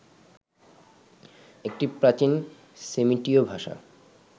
একটি প্রাচীন সেমিটীয় ভাষা